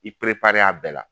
I perepare a bɛɛ la